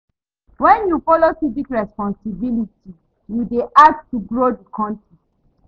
Wen you folo civic responsibility, yu dey add to grow di kontri.